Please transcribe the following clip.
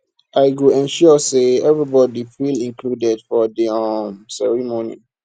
i go ensure say everybody feel included for di um ceremony